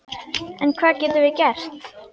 En hvað getum við gert?